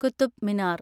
Qutub Minar